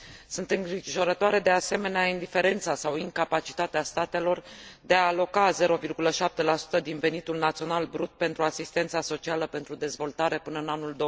Sunt îngrijorătoare, de asemenea, indiferența sau incapacitatea statelor de a aloca 0,7 din venitul național brut pentru asistența socială pentru dezvoltare până în anul